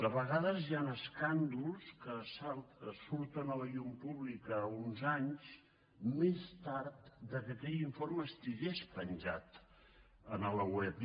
a vegades hi han escàndols que surten a la llum pública uns anys més tard que aquell informe estigués penjat a la web